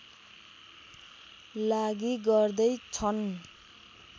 लागि गर्दै छन्